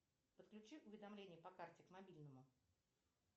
подключи уведомления по карте к мобильному